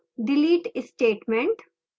delete statement